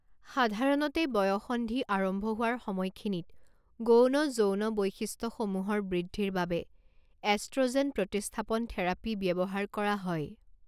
সাধাৰণতে, বয়ঃসন্ধি আৰম্ভ হোৱাৰ সময়খিনিত গৌণ যৌন বৈশিষ্ট্যসমূহৰ বৃদ্ধিৰ বাবে এষ্ট্ৰোজেন প্ৰতিস্থাপন থেৰাপি ব্যৱহাৰ কৰা হয়।